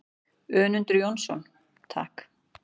Önundur Jónsson: Takk.